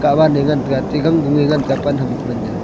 hawan e ngan tega atte gangun e ngan tega pan ham ku man jaw.